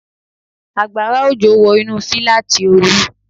Àgbàrá òjò wọ inú fíláàtì Olú